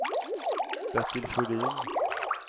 Bertil Sjödin